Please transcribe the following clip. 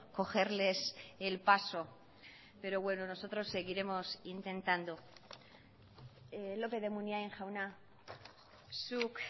cogerles el paso pero bueno nosotros seguiremos intentando lópez de munain jauna zuk